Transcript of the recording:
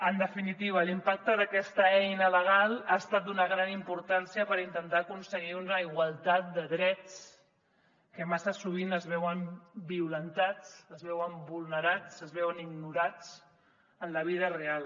en definitiva l’impacte d’aquesta eina legal ha estat d’una gran importància per intentar aconseguir una igualtat de drets que massa sovint es veuen violentats es veuen vulnerats es veuen ignorats en la vida real